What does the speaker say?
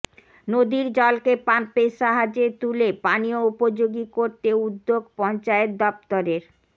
নদীর জলকে পাম্পের সাহায্যে তুলে পানীয় উপযোগী করতে উদ্যোগ পঞ্চায়েত দফতরের